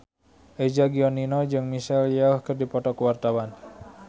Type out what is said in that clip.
Eza Gionino jeung Michelle Yeoh keur dipoto ku wartawan